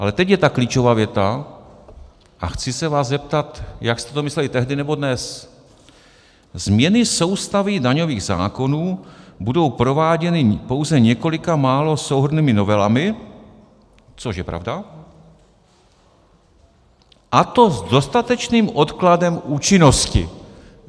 Ale teď je ta klíčová věta a chci se vás zeptat, jak jste to mysleli tehdy, nebo dnes: Změny soustavy daňových zákonů budou prováděny pouze několika málo souhrnnými novelami - což je pravda - a to s dostatečným odkladem účinnosti.